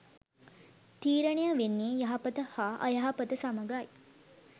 තීරණය වෙන්නේ යහපත හා අයහපත සමඟයි.